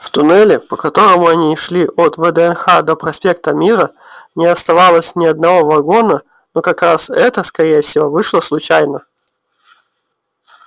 в туннеле по которому они шли от вднх до проспекта мира не оставалось ни одного вагона но как раз это скорее всего вышло случайно